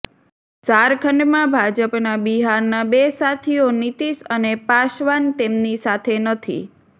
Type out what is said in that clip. ઝારખંડમાં ભાજપના બિહારના બે સાથીઓ નીતિશ અને પાસવાન તેમની સાથે નથી